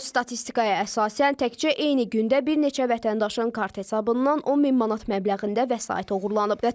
Son statistikaya əsasən təkcə eyni gündə bir neçə vətəndaşın kart hesabından 10 min manat məbləğində vəsait oğurlanıb.